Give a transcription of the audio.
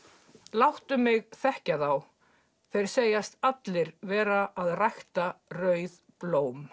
láttu mig þekkja þá þeir segjast allir vera að rækta rauð blóm